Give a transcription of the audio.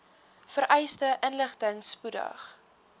vereiste inligting spoedig